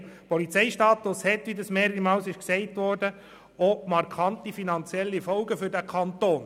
Der Polizeistatus hat markante finanzielle Folgen für den Kanton.